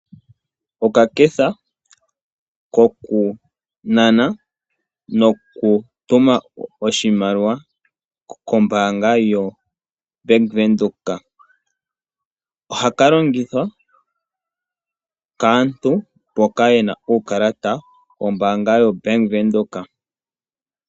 Okaketha kokunana nokutuma oshimaliwa kombaanga yoBank Windhoek ohaka longithwa kaantu mboka yena uukalata wombaanga yoBank Windhoek.